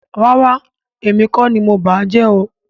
Rárá, èmi kọ́ ni mo bàá jẹ́ o